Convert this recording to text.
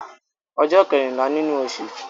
Ọjọ́ kẹ́rìnlá nínú osù